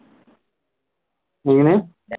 എങ്ങനെ